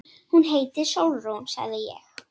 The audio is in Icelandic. Hún heitir Sólrún, sagði ég.